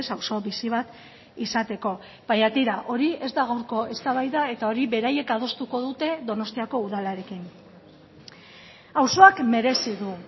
auzo bizi bat izateko baina tira hori ez da gaurko eztabaida eta hori beraiek adostuko dute donostiako udalarekin auzoak merezi du